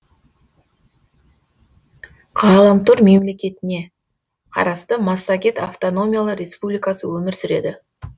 ғаламтор мемлекетіне қарасты массагет автономиялы республикасы өмір сүреді